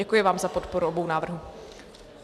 Děkuji vám za podporu obou návrhů.